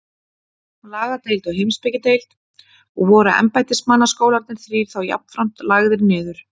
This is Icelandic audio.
Lagadeild og Heimspekideild, og voru embættismannaskólarnir þrír þá jafnframt lagðir niður.